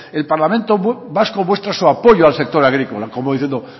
el parlamento vasco muestra su apoyo al sector agrícola como diciendo